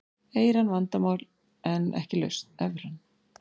Evran vandamál en ekki lausn